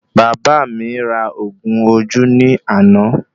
Bàbá mí ra oògùn ojú ní àna